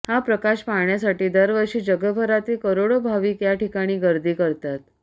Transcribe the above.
हा प्रकाश पाहण्यासाठी दरवर्षी जगभरातील करोडो भाविक याठिकाणी गर्दी करतात